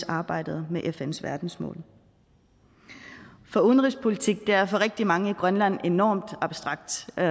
arbejdet med fns verdensmål for udenrigspolitik er for rigtig mange i grønland enormt abstrakt og